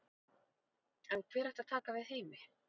En hver ætti að taka við af Heimi?